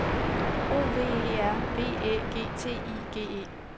O V E R V Æ G T I G E